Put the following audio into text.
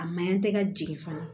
A maɲan tɛ ka jigin fana